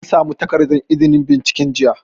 An samu takardar izinin binciken jiya